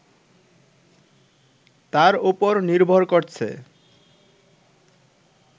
তার ওপর নির্ভর করছে